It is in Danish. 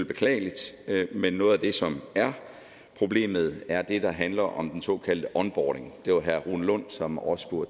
beklageligt men noget af det som er problemet er det der handler om den såkaldte onboarding det var herre rune lund som også